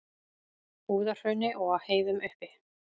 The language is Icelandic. Búðahrauni og á heiðum uppi.